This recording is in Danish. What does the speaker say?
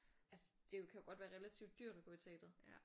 Altså det kan jo godt være relativt dyrt at være i teateret